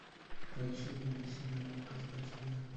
поищи невыносимая легкость бытия